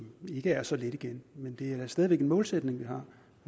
ikke er så let igen men det er stadig væk en målsætning vi har